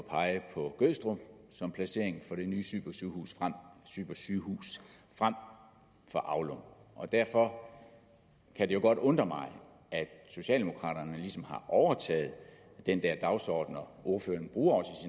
at pege på gødstrup som placering til det nye supersygehus frem for aulum og derfor kan det jo godt undre mig at socialdemokraterne ligesom har overtaget den der dagsorden ordføreren bruger